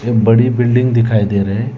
बड़ी बिल्डिंग दिखाई दे रहे हैं।